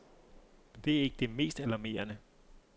Men det er ikke det mest alarmerende.